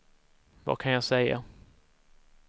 vad kan jag säga